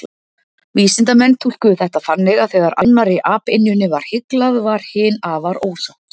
Vísindamennirnir túlkuðu þetta þannig að þegar annarri apynjunni var hyglað, varð hin afar ósátt.